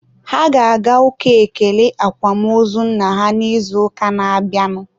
Ha ga-aga ụka ekele akwamozu nna ha n'izuụka na-abịanụ